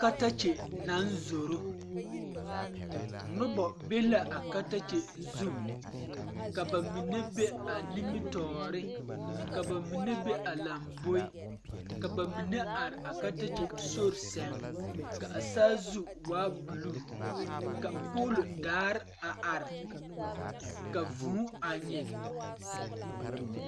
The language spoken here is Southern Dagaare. Katakye naŋ zoro noba be la a katakye zu ka ba mine bae a nimitɔɔre ka ba mine be a lamboe ka ba mine are a katkye sori sɛŋ a saazu waa buluu ka poolodaa a are ka vuu a nyeŋ.